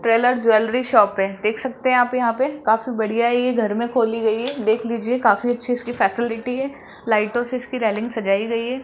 ट्वेलर jewellery shop है देख सकते हैं आप यहां पे काफी बढ़िया है ये घर में खोली गई है देख लीजिए काफी अच्छी इसकी फैसिलिटी है लाइटों से इसकी रेलिंग सजाई गई है।